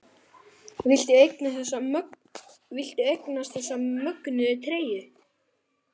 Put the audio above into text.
Viltu eignast þessa mögnuðu treyju?